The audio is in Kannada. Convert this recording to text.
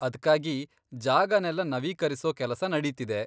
ಅದ್ಕಾಗಿ ಜಾಗನೆಲ್ಲ ನವೀಕರಿಸೋ ಕೆಲಸ ನಡೀತಿದೆ.